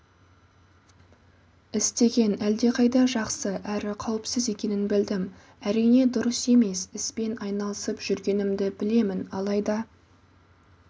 істеген әлдеқайда жақсы әрі қауіпсіз екенін білдім әрине дұрыс емес іспен айналысып жүргенімді білемін алайда